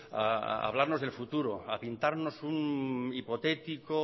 a hablarnos del futuro a pintarnos un hipotético